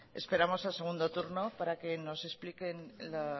esperamos al segundo turno para que nos explique el